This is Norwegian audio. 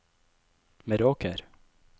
Meråker